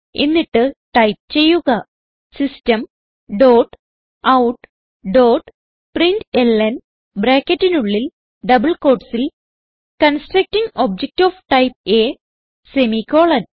എന്നിട്ട് ടൈപ്പ് ചെയ്യുക system dot out dot println ബ്രാക്കറ്റിനുള്ളിൽ ഡബിൾ quotesസിൽ constructing object of type A semicolon